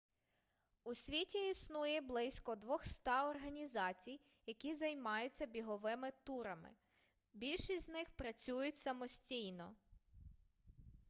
у світі існує близько 200 організацій які займаються біговими турами більшість з них працюють самостійно